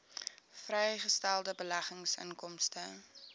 vrygestelde beleggingsinkomste